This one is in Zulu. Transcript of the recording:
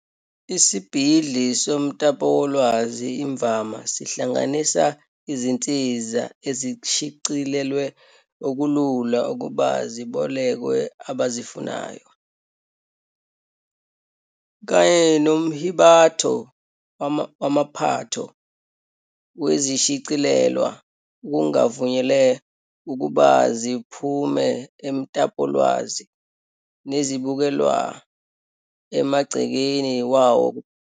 Isibhidli somtapowolwazi imvama sihlanganisa izinsiza ezishicilelwe okulula ukuba zibolekwe abazifunayo, kanye nomhibatho wamaphatho wezishicilelwa okungavunyelwe ukuba ziphume emtapolwazi nezibukelwa emagcekeni wawo kuphela.